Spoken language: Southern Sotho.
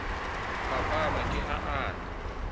phaphama ke ha a ne